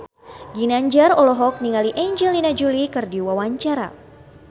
Ginanjar olohok ningali Angelina Jolie keur diwawancara